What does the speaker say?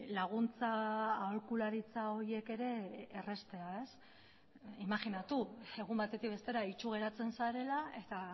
laguntza aholkularitza horiek ere erraztea imajinatu egun batetik bestera itsu geratzen zarela eta